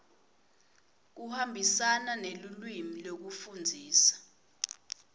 kuhambisana nelulwimi lekufundzisa